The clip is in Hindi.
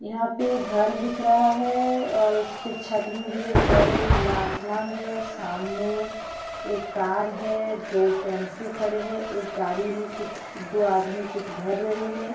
यहाँ पे घर दिख रहा है और उसके छत मे भी एक घर है खुला आसमान है सामने एक कार है दो टैम्पू खड़े है एक गाड़ी मे कुछ दो आदमी कुछ भर रहे है।